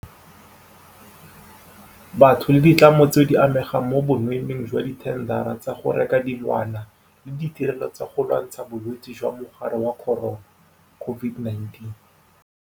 Batho le ditlamo tseo di amegang mo bonweenweeng jwa dithendara tsa go reka dilwana le ditirelo tsa go lwantsha Bolwetse jwa Mogare wa Corona, COVID-19.